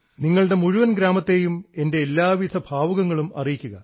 നോക്കൂ നിങ്ങളുടെ മുഴുവൻ ഗ്രാമത്തെയും എൻറെ എല്ലാവിധ ഭാവുകങ്ങളും അറിയിക്കുക